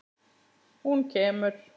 Hún kemur!